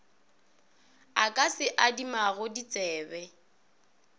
a ka se adimago ditsebe